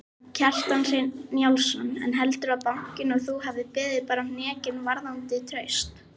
Kjartan Hreinn Njálsson: En heldurðu að bankinn og þú hafi beðið bara hnekki varðandi traust?